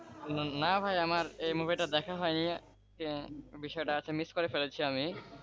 না ভাই আমার এই মুভিটা দেখা হয়নি বিষয়টা আজকে miss করে ফেলেছি আমি,